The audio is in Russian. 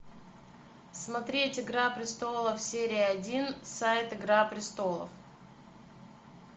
смотреть игра престолов серия один сайт игра престолов